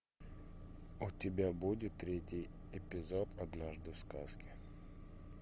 у тебя будет третий эпизод однажды в сказке